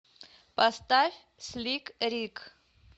поставь слик рик